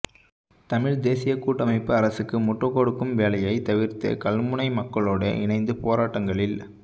தமிழ் தேசிய கூட்டமைப்பு அரசுக்கு முட்டுக்கொடுக்கும் வேலையை தவிர்த்து கல்முனை மக்களோடு இணைந்து போராட்டங்களில்